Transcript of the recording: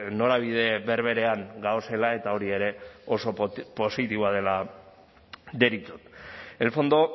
norabide berberean gaudela eta hori ere oso positiboa dela deritzot el fondo